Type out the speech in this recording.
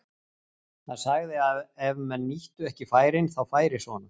Hann sagði að ef menn nýttu ekki færin þá færi svona.